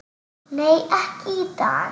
Nei, ekki í dag.